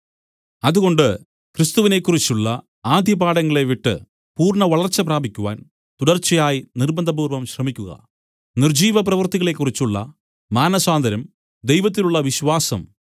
അതുകൊണ്ട് ക്രിസ്തുവിനെക്കുറിച്ചുള്ള ആദ്യപാഠങ്ങളെ വിട്ട് പൂർണ്ണവളർച്ച പ്രാപിക്കുവാൻ തുടർച്ചയായി നിർബ്ബന്ധപൂർവം ശ്രമിക്കുക നിർജ്ജീവ പ്രവൃത്തികളെക്കുറിച്ചുള്ള മാനസാന്തരം ദൈവത്തിലുള്ള വിശ്വാസം